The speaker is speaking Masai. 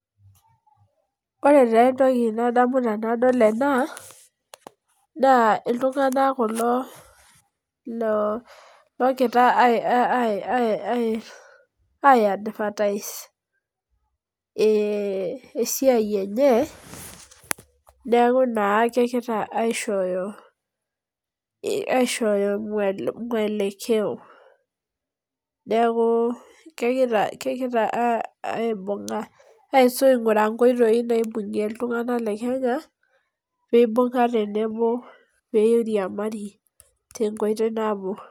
ore taa entoki nadamu tenadol ena naa iltung'anak kulo loo gira aiya advice ] esiai enye neeku naa kegira aishoyo muolekeyo neeku kegira aibung'a, aing'uraa inkotoi naibung'are iltung'anak lekenya pee imung'a tenebo pee iriamari tenkoitoi nabo.